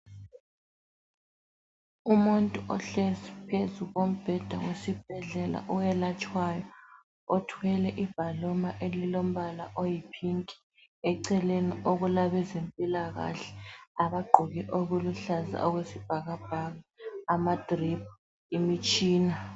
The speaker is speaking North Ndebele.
Umuntu ohlezi phezu kombheda wesibhedlela owelatshwayo, othwele ibhaluma elilombala oyi pink. Eceleni okulabezempilakahle abagqoke okuluhlaza okwesibhakabhaka. Ama driphu imitshina.